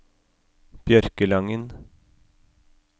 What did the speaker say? Bjørkelangen